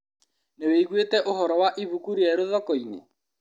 Nĩwĩiguĩte ũhoro wa ibuku rĩerũ thokoinĩ?